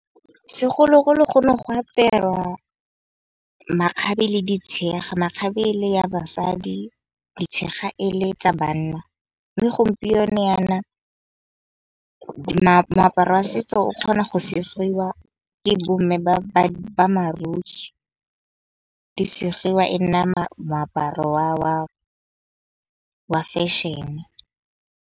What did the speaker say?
Segologolo gone go apewa makgabe le di tshega, makgabe le ya basadi, di tshega ele tsa banna. Mme gompieno yana moaparo wa setso o kgona go segiwa ke bomme ba . Di segiwa e nna moaparo wa fashion-e.